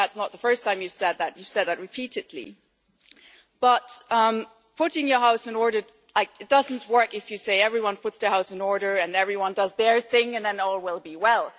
I think that's not the first time you have said that you you have said that repeatedly. But putting your house in order doesn't work if you say everyone puts their house in order and everyone does their thing and then all will be well.